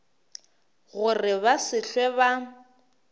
gore ba se hlwe ba